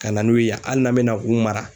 Ka na n'u ye hali n'an bɛ na u mara